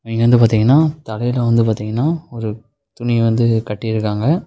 இங்க வந்து பாத்தீங்னா தலையில வந்து பாத்தீங்கன்னா ஒரு துணி வந்து கட்டிருக்காங்க.